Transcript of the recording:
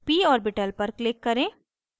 p orbital पर click करें